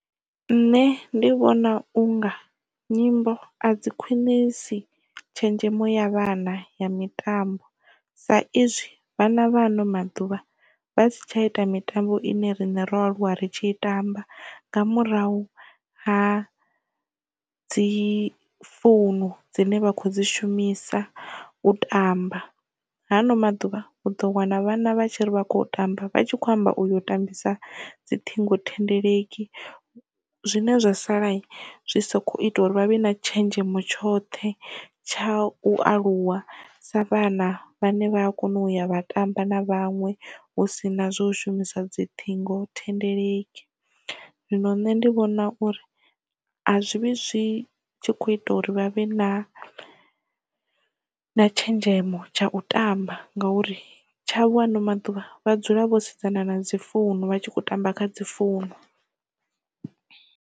Nṋe ndi vhona unga nyimbo a dzi khwinisi tshenzhemo ya vhana ya mitambo sa izwi vhana vha ano maḓuvha vha si tsha ita mitambo ine rine ro aluwa ri tshi i tamba nga murahu ha dzi founu dzine vha khou dzi shumisa u tamba. Hano maḓuvha u ḓo wana vhana vhatshi ri vha kho yo tamba vha tshi kho amba uyo tambisa dzi ṱhingo thendeleki zwine zwa sala zwi soko ita uri vhavhe na tshenzhemo tshoṱhe tsha u aluwa sa vhana vhane vha kona uya vha tamba na vhanwe hu sina zwo u shumisa dzi ṱhingo thendeleki. Zwino nṋe ndi vhona uri a zwi vhi zwi tshi kho ita uri vha vhe na na tshenzhemo tsha u tamba ngauri tsha vho haano maḓuvha vha dzula vho sedzana na dzi founu vha tshi khou tamba kha dzi founu.